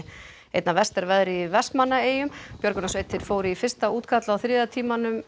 einna verst er veðrið í Vestmannaeyjum björgunarsveitir fóru í fyrsta útkall á þriðja tímanum